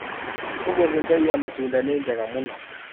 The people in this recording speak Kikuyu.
ũmũthĩ mbei ya matunda nĩ njega mũno.